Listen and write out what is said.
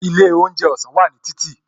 Ilé oúnjẹ ọ̀sán wà ní títì